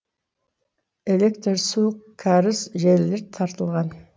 электр су кәріз желілері тартылған